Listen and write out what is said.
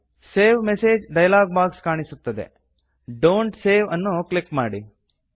save message dialog box ಕಾಣಿಸುತ್ತದೆ don't save ಅನ್ನು click ಮಾಡಿ